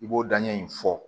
I b'o daɲɛ in fɔ